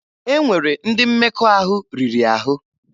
E nwere ndị mmekọahụ riri ahụ.